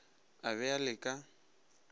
a be a le ka